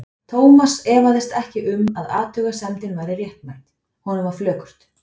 Thomas efaðist ekki um að athugasemdin væri réttmæt, honum var flökurt.